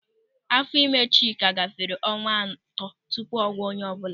Áfọ́ ịme Chika gafere ọnwa atọ tupu ọ gwa onye ọbụla.